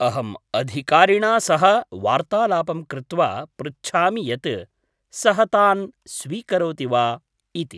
अहं अधिकारिणा सह वार्तालापं कृत्वा पृच्छामि यत् सः तान् स्वीकरोति वा इति।